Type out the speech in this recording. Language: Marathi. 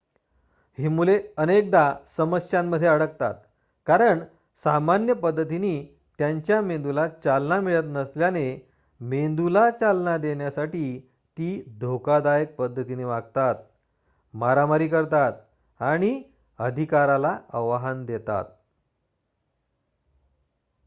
"ही मुले अनेकदा समस्यांमध्ये अडकतात कारण सामान्य पद्धतींनी त्यांच्या मेंदूला चालना मिळत नसल्याने मेंदूला चालना देण्यासाठी ती "धोकादायक पद्धतीने वागतात मारामारी करतात आणि अधिकाराला आव्हान देतात"".